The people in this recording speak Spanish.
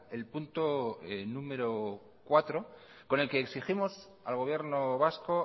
el punto número cuatro con el que exigimos al gobierno vasco